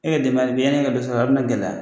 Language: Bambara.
E ye denbaya la bi yann'e ka dɔ sɔrɔ a bɛna gɛlɛya